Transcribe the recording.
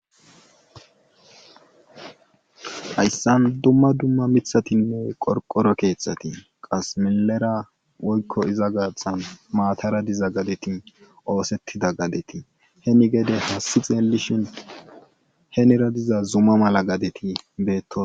Hayssan dumma dumma miththatinne qorqoro keeththati qasse milera woykko iza gaaththan maatara diza gadeti oosetida gadeti heni gede aasi xeelishin henira diza zuma mala gadeti beetosona.